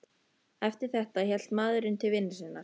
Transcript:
Eftir þetta hélt maðurinn til vinnu sinnar.